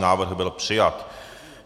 Návrh byl přijat.